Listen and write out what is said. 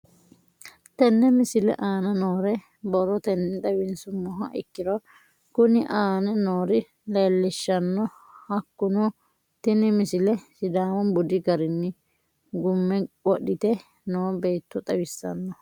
Tenne misile aana noore borrotenni xawisummoha ikirro kunni aane noore leelishano. Hakunno tinni misile sidaamu budi garinni gume wodhite noo beeto xawissanno.